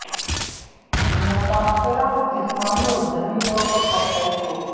متاثرہ کو جسمانی اور ذہنی طور پر پہنچائی چوٹ